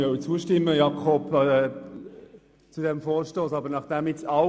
Eigentlich wollte ich diesem Vorstoss zustimmen, Grossrat Schwarz.